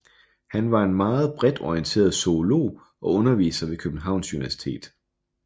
Han var en meget bredt orienteret zoolog og underviser ved Københavns Universitet